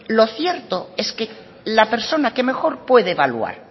lo cierto es que la persona que mejor puede evaluar